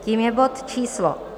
Tím je bod číslo